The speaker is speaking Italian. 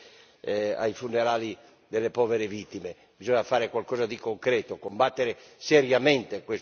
Bisogna fare qualcosa di concreto, combattere seriamente questo pericolo e naturalmente aiutare la povera Tunisia.